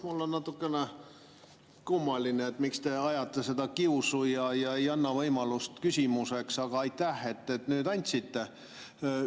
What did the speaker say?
Mulle tundub natukene kummaline, et te ajate kiusu ega anna võimalust küsimuseks, aga aitäh, et nüüd andsite!